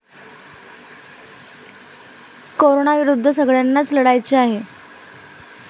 कोरोनाविरुद्ध सगळय़ांनाच लढायचे आहे.